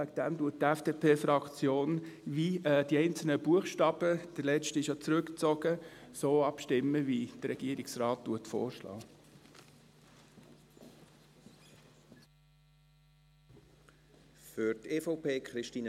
Deshalb stimmt die FDPFraktion, der letzte Buchstabe wurde ja zurückgezogen, wie der Regierungsrat vorschlägt.